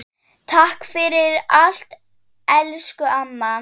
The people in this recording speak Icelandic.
Takk fyrir allt, elsku amma.